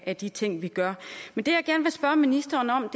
af de ting vi gør men det jeg gerne vil spørge ministeren om